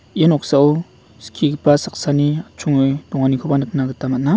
ia noksao skigipa saksani atchonge donganikoba nikna gita man·a.